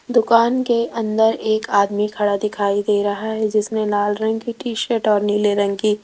दुकान के अंदर एक आदमी खड़ा दिखाई दे रहा है जिसमें लाल रंग की टी शर्ट और नीले रंग की --